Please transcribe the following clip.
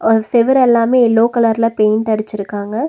செவர் எல்லாமே எல்லோ கலர்ல பெயிண்ட் அடிச்சுருக்காங்க.